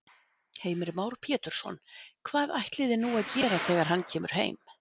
Heimir Már Pétursson: Hvað ætliði nú að gera þegar hann kemur heim?